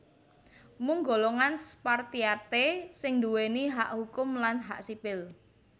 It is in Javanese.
Mung golongan Spartiate sing nduwèni hak hukum lan hak sipil